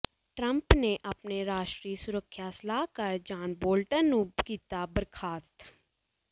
Trump ਨੇ ਆਪਣੇ ਰਾਸ਼ਟਰੀ ਸੁਰੱਖਿਆ ਸਲਾਹਕਾਰ ਜਾਨ ਬੋਲਟਨ ਨੂੰ ਕੀਤਾ ਬਰਖਾਸਤ